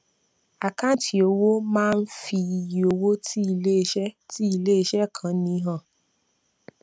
àkáǹtì owó máá ń fi iye owó tí iléeṣẹ tí iléeṣẹ kan ní han